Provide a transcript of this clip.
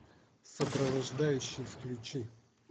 сопровождающий включи